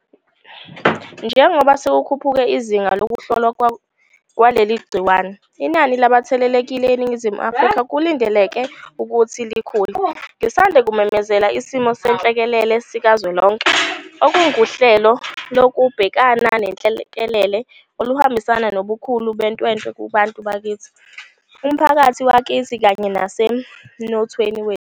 Njengoba sekukhuphuke izinga lokuhlolwa kwaleli gciwane, inani labathelelekile eNingizimu Afrika kulindeleke ukuthi likhule. Ngisanda kumemezela isimo senhlekelele sikazwelonke, okunguhlelo lokubhekana nenhlekelele oluhambisana nobukhulu betwetwe kubantu bakithi, umphakathi wakithi kanye nasemnothweni wethu.